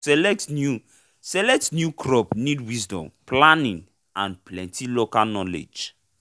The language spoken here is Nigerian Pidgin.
to select new select new crop need wisdon planning and plenty local knowledge